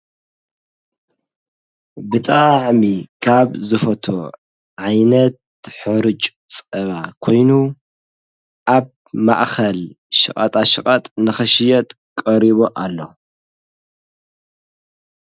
ብጣዕሚ ካብ ዝፈትዎ ዓይነት ሕሩጭ ፀባ ኮይኑ ኣብ ማእኸል ሸቀጣሸቀጥ ንክሽየጥ ቀሪቡ ኣሎ::